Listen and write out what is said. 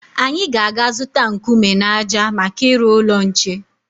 Anyị ga-aga zụta nkume na ájá maka ịrụ ụlọ nche.